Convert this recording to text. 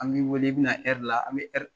An b'i wele i bɛna hɛrila